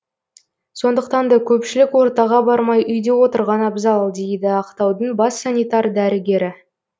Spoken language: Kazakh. сондықтан да көпшілік ортаға бармай үйде отырған абзал дейді ақтаудың бас санитар дәрігері